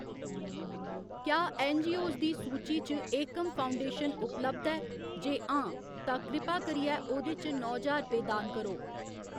क्या ऐन्नजीओस दी सूची च एकम फाउंडेशन उपलब्ध ऐ, जे हां तां कृपा करियै ओह्‌दे च नौ ज्हार रपेऽ दान करो।